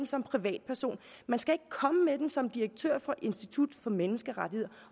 som privatperson man skal komme med den som direktør for institut for menneskerettigheder